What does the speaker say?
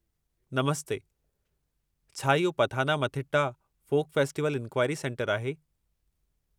नमस्ते, छा इहो Pathanamthitta folk festival enquiry सेंटरु आहे?